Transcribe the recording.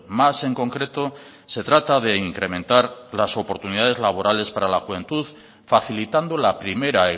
más en concreto se trata de incrementar las oportunidades laborales para la juventud facilitando la primera